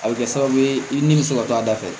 A bɛ kɛ sababu ye i nimisi wato a da fɛ